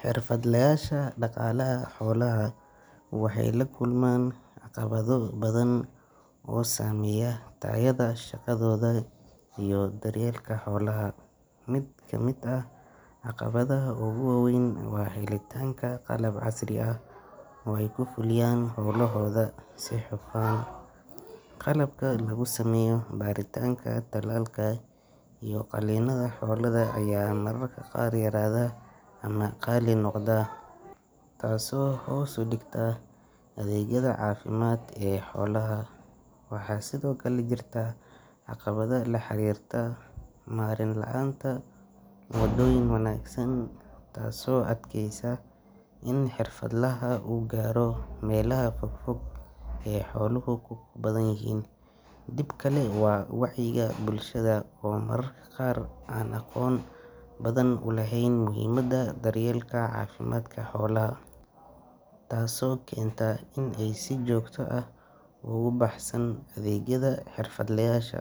Xirfadlayasha daqalaha xolaha waxay lakulman caqabado badan oo sameya difacyada shagada iyo daryelka holaha, mid kamid ah caqabadaha oguwawen wa helitanka qapab casri ah oo ay kufuliyaan haqoda si ay qalabka lagusameyo baritanka talalka iyo qalinada aya mararka qaar yarada ama qaali nogda, taaso oo hos udigta adegyada cafimad ee holaha, waxa Sidhokale jirta caqabado laharirta maren laanta oo door wanagsan taas oo adkeysa daman hirfadlaha helo ee xola ay leyixii, ibka bulshada oo an mar an aqoon badan ulehen muxiimada dalyelka cafimadka holaha, taas oo kenta in ay si jogta ah ogubahsan adegyada hirfadlayasha,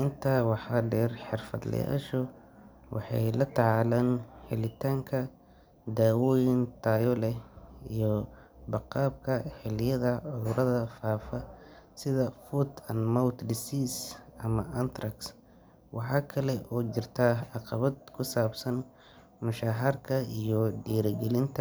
inta wa der hirfadlayasha waxay latacalaan helitanka dawoyin tayo leh iyo gebka hiliyada cimilada fafaa sidha food and mount disease waxa kale oo jirta cagabad kusabsan mushaharka iyo dirigalinta.